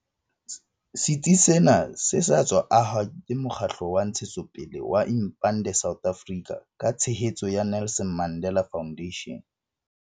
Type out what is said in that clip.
Setsi sena se sa tswa ahwa ke mokgatlo wa ntshetsopele wa Impande South Africa ka tshehetso ya Nelson Mandela Foundation.